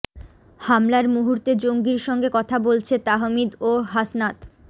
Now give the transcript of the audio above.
হামলার মুহূর্তে জঙ্গির সঙ্গে কথা বলছে তাহমিদ ও হাসনাত